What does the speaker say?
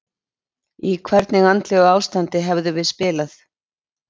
Í hvernig andlegu ástandi hefðum við spilað?